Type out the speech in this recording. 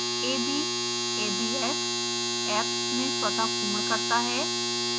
ab a b s abs में स्वतः पूर्ण करता है